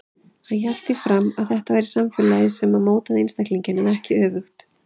Hann hélt því fram að það væri samfélagið sem mótaði einstaklinginn en ekki öfugt.